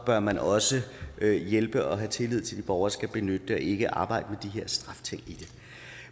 bør man også hjælpe og have tillid til de borgere der skal benytte det og ikke arbejde